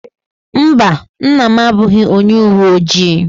Mba, nna m abụghị onye uwe ojii.